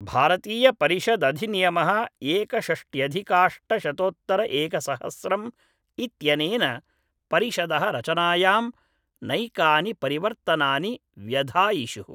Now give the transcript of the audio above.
भारतीयपरिषदधिनियमः एकषष्ट्यधिकाष्टशतोत्तरएकसहस्रम् इत्यनेन परिषदः रचनायां नैकानि परिवर्तनानि व्यधायिषुः